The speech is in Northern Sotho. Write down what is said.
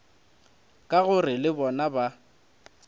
ka gore le bona ba